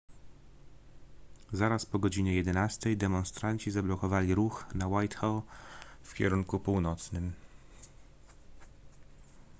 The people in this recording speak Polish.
zaraz po godzinie 11:00 demonstranci zablokowali ruch na whitehall w kierunku północnym